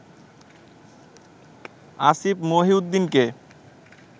Asif মহিউদ্দিনকে